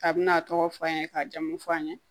Kabini a tɔgɔ fɔ an ye k'a jamu fɔ an ye